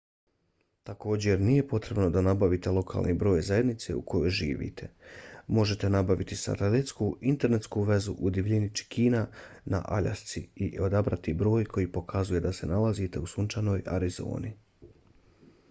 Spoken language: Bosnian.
također nije potrebno da nabavite lokalni broj zajednice u kojoj živite. možete nabaviti satelitsku internetsku vezu u divljini čikina na aljasci i odabrati broj koji pokazuje da se nalazite u sunčanoj arizoni